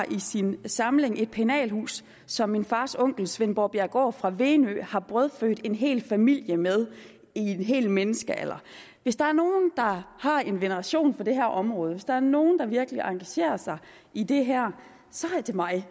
i sin samling har et pennalhus som min fars onkel svend borbjerggaard fra venø har brødfødt en hel familie med i en hel menneskealder hvis der er nogen der har en veneration for det her område hvis der er nogen der virkelig engagerer sig i det her så er det mig